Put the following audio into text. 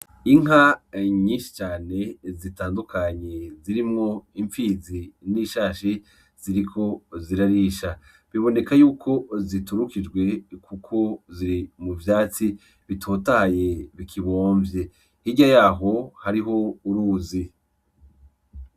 Inka nyinshi cane zitandukanye zirimwo impfizi n'ishashi ziriko zirarisha biboneka yuko ziturukijwe kuko ziri muvyatsi bitotahaye bikibomvye hirya yaho hariho uruzi